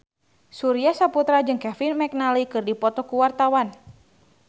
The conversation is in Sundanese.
Surya Saputra jeung Kevin McNally keur dipoto ku wartawan